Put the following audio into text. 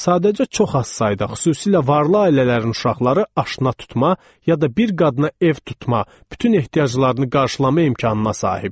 Sadəcə çox az sayda, xüsusilə varlı ailələrin uşaqları aşna tutma, ya da bir qadına ev tutma, bütün ehtiyaclarını qarşılama imkanına sahibdir.